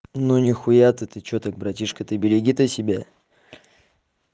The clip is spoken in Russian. ну нихуя ты что так братишка ты береги то себя